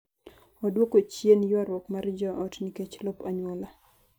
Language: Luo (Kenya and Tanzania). oduoko chien ywaruok mar joot nikech lop anyuola